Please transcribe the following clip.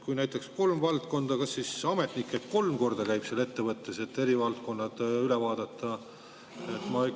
Kui on näiteks kolm valdkonda, kas siis ametnik peab käima kolm korda seal ettevõttes, et eri valdkonnad üle vaadata?